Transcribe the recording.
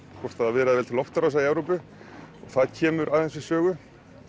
hvort það viðraði vel til loftárása í Evrópu og það kemur aðeins við sögu